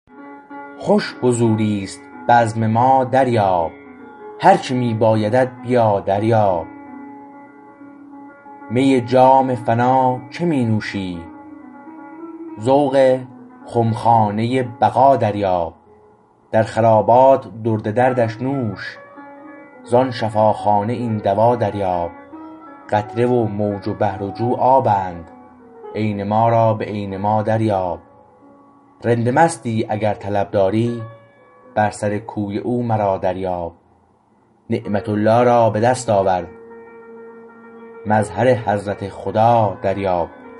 خوش حضوریست بزم ما دریاب هرچه می بایدت بیا دریاب می جام فنا چه می نوشی ذوق خمخانه بقا دریاب در خرابات درد دردش نوش زان شفاخانه این دوا دریاب قطره و موج و بحر و جو آبند عین ما را به عین ما دریاب رند مستی اگر طلب داری بر سر کوی او مرا دریاب نعمت الله را به دست آور مظهر حضرت خدا دریاب